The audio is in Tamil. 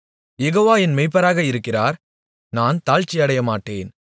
யெகோவா என் மேய்ப்பராக இருக்கிறார் நான் தாழ்ச்சி அடையமாட்டேன்